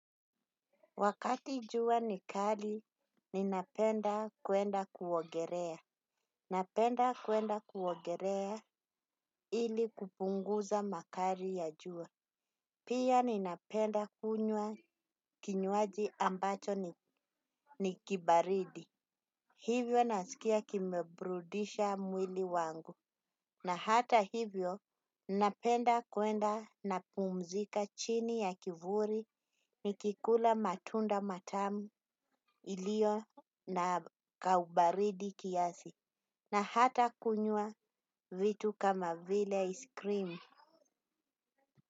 Wakati jua ni kali, ninapenda kwenda kuogerea. Napenda kwenda kuogerea ili kupunguza makari ya jua. Pia ninapenda kunywa kinywaji ambacho ni kibaridi. Hivyo nasikia kimebrudisha mwili wangu. Na hata hivyo, ninapenda kwenda napumzika chini ya kivuri nikikula matunda matamu ilio na kaubaridi kiasi, na hata kunywa vitu kama vile iskrimu.